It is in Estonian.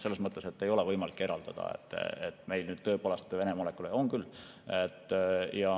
Selles mõttes ei ole võimalik eraldada, et meil nüüd tõepoolest Vene molekule.